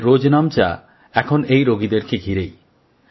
তাঁদের রোজনামচা এখন এই রোগীদেরকে ঘিরেই